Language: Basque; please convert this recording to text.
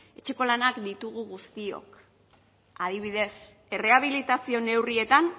etxeko lanak ditugu guztiok adibidez errehabilitazio neurrietan